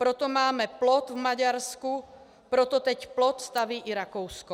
Proto máme plot v Maďarsku, proto teď plot staví i Rakousko.